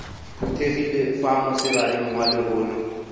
phuthegile fa mosegareng wa lehono